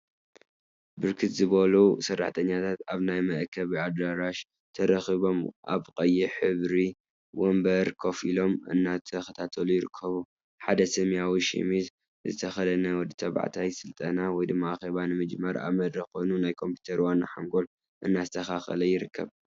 ብርክት ዝበሉ ሰራሕተኛታት አብ ናይ መአከቢ አዳራሽ ተረኪቦም አብ ቀይሕ ሕብሪ ወንበር ኮፈ ኢሎም እናተከታተሉ ይርከቡ፡፡ ሓደ ሰማያዊ ሸሚዝ ዝተከደነ ወዲ ተባዕታይ ስልጠና/አኬባ/ ንምጅማር አብ መድረክ ኮይኑ ናይ ኮምፒተር ዋና ሓንጎል እናስተካከለ ይርከብ፡፡